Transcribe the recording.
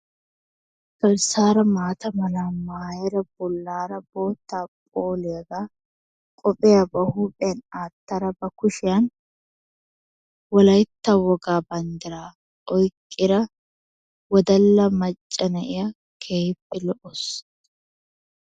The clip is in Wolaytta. Garssara maata mala maayada bollaara bootta phooliyagaa qophiya ba huuphiyan aattada ba kuslshiyan wolaytta wogaa banddira oyqqida woddalla macca na'iya keehippe lo''aasu.